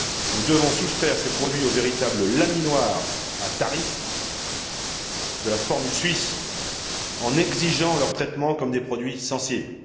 Nous devons soustraire ces produits aux véritables laminoirs à tarifs, selon la formule suisse, en exigeant leur traitement comme des produits sensibles.